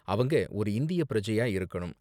அவங்க ஒரு இந்திய பிரஜையா இருக்கனும்.